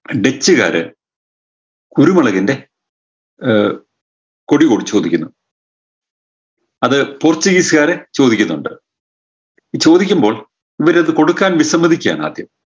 ഡച്ചുകാര് കുരുമുളകിൻറെ ഏർ കൊടി കൂടെ ചോദിക്കുന്നു അത് പൂർത്തീകരിക്കാതെ ചോദിക്കുന്നുണ്ട് ചോദിക്കുമ്പോൾ ഇവരത് കൊടുക്കാൻ വിസമ്മതിക്കുകയാണ് ആദ്യം